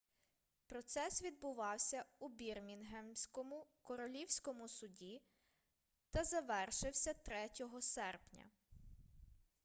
процес відбувався у бірмінгемському королівському суді та завершився 3 серпня